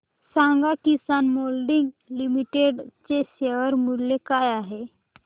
सांगा Kisan moulding limited चे share मूल्य काय आहे